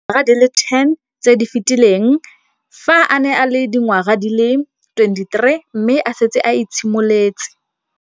Dingwaga di le 10 tse di fetileng, fa a ne a le dingwaga di le 23 mme a setse a itshimoletse